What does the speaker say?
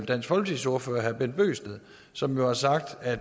dansk folkepartis ordfører herre bent bøgsted som jo har sagt at